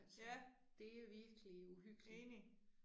Ja. Enig